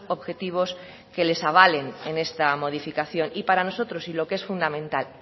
objetivos que les avalen en esta modificación y para nosotros y lo que es fundamental